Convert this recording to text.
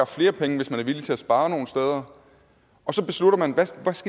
flere penge hvis man er villig til at spare nogle steder og så beslutter man hvad